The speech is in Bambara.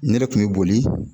Ne de kun bɛ boli